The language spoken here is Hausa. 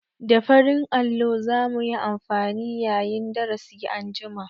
Da farin allo za mu yi amfani yayin darasi anjima.